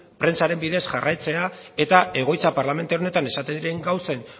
prentsaren bidez jarraitzea eta egoitza parlamentu honetan esaten diren gauzen